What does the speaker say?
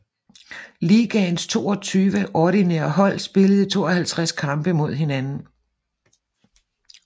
Ligaens 22 ordinære hold spillede 52 kampe mod hinanden